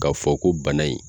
K'a fɔ ko bana in